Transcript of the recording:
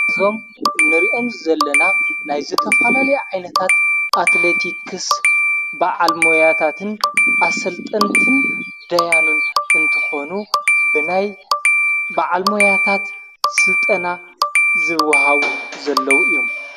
ኣብዞም ንርኦም ዘለና ናይ ዘተፈላል ዓይነታት ኣትሌቲክስ ብዓልመያታትን ኣሠልጠንትን ደያኑን እንተኾኑ፤ ብናይ ብዓልመያታት ሥልጠና ዝውሃዊ ዘለዉ እዮም።